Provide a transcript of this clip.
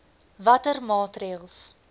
watter maatreëls